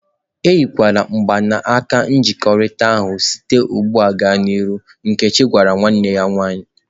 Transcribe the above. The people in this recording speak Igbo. E yila mgbanaka nkwekọrịta ahụ site ugbu a gaa n'ihu!" Nkechi gwara nwanne ya nwaanyị ""